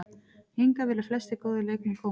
Hingað vilja flestir góðir leikmenn koma.